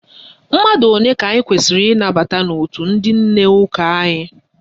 Mmadụ ole ka anyị kwesiri ịnabata n'òtù ndị nne ụka anyị?